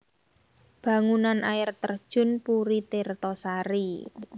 Bangunan Air Terjun Puri Tirto Sari